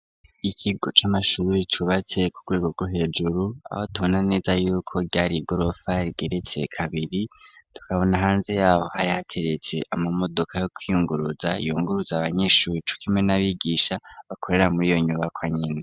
Ikigo c'amashuri cubatse ku rwego gu hejuru aho tubona neza yuko ryari gorofa rgeretse kabiri tukabona hanze yabo hari hateretse ama modoka yo kwiyunguruza yunguruza abanyeshuri cukimwe n'abigisha bakorera muri iyo nyubakwa nyene.